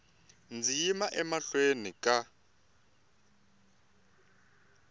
ndzi yima emahlweni ka n